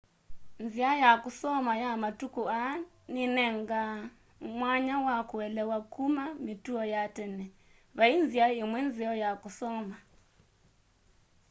nzĩa ya kũsoma ya matũkũ aa nĩnenganaa mwanya wa kũelewa kũma mĩtũo ya tene vaĩ nzĩa ĩmwe nzeo ya kũsoma